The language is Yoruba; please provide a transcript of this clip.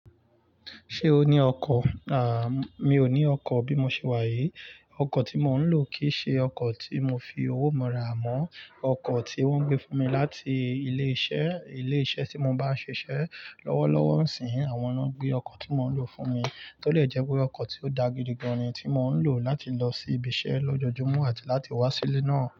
Ṣé o ní ọkọ̀? À, mi ò ní ọkọ̀ bí mo ṣe wá yìí. Ọkọ̀ tí mò ń lò kì í ṣe ọkọ̀ tí mo fi owó mi rà mọ́. Ọkọ̀ tí wọ́n gbé fún mi láti ilé iṣẹ́. Ilé iṣẹ́ tí mo bá ń ṣiṣẹ́ lọ́wọ́lọ́wọ́ nsinyii, àwọn ná gbé ọkọ̀ tí mò ń lò fún mi. Tọ́ de jẹ́ pé ọkọ̀ tí ó da gidi gan-an ni tí mò ń lò láti lọ sí ibi iṣẹ́ lójoojúmọ́ àti láti wá sí ilé náà.